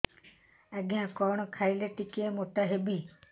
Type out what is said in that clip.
ଆଜ୍ଞା କଣ୍ ଖାଇଲେ ଟିକିଏ ମୋଟା ହେବି